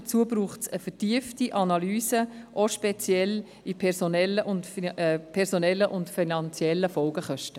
Dazu braucht es eine vertiefte Analyse, auch speziell bezüglich der personellen und finanziellen Folgekosten.